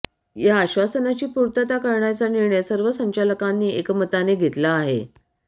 या आश्वासनाची पूर्तता करणारा निर्णय सर्व संचालकांनी एकमताने घेतला आहे